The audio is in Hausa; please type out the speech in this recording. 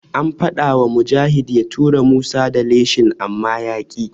An faɗawa Mujahid ya tura Musa da leshin amma yaƙi.